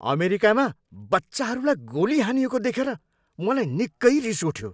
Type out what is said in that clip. अमेरिकामा बच्चाहरूलाई गोली हानिएको देखेर मलाई निकै रिस उठ्यो।